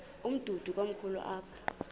umdudo komkhulu apha